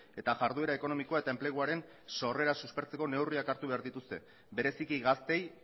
eta jarduera ekonomikoa eta enpleguaren sorrera suspertzeko neurriak hartu behar dituzte bereziki gazteei